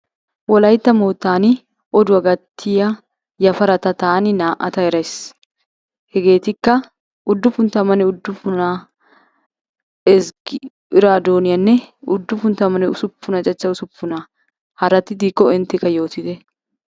Wolaytta moottan oduwa gatiya yafarata taani naa"ata erays. Heggettikka uddupun tammanne uddupunaa iraaddoniyanne uddupun tammanne usuppuna chacha usuppunaa haratti diikko inttekka yoottite.